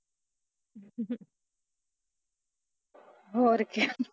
ਹੋਰ ਕਿਆ